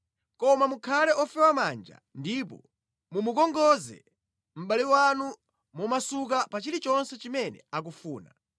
Koma mukhale ofewa manja ndipo mumukongoze mʼbale wanu momasuka pa chilichonse chimene akufuna.